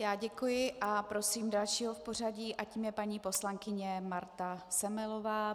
Já děkuji a prosím dalšího v pořadí a tím je paní poslankyně Marta Semelová.